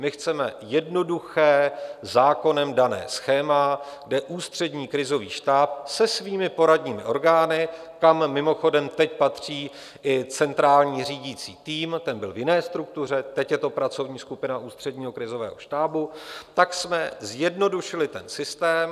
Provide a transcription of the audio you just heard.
My chceme jednoduché, zákonem dané schéma, kde Ústřední krizový štáb se svými poradními orgány, kam mimochodem teď patří i centrální řídící tým - ten byl v jiné struktuře, teď je to pracovní skupina Ústředního krizového štábu - tak jsme zjednodušili ten systém.